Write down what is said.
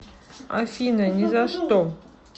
афина ни за что